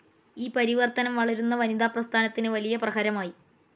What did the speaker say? ഈ പരിവർത്തനം വളരുന്ന വനിതാ പ്രസ്ഥാനത്തിന് വലിയ പ്രഹരമായി.